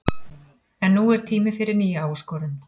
En nú er tími fyrir nýja áskorun.